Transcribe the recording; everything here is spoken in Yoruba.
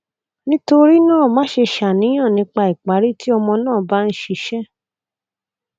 nitorina maṣe ṣàníyàn nipa ipari ti ọmọ naa ba n ṣiṣẹ